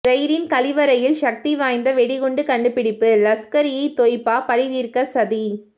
ரெயிலின் கழிவறையில் சக்தி வாய்ந்த வெடிகுண்டு கண்டுபிடிப்பு லஷ்கர் இ தொய்பா பழிதீர்க்க சதி